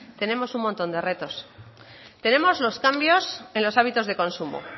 tenemos un montón de retos tenemos los cambios en los hábitos de consumo